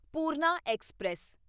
Purna express